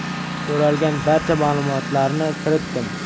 So‘ralgan barcha ma’lumotlarni kiritdim.